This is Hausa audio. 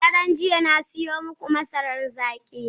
Daren jiya na siyo muku masarar zaki.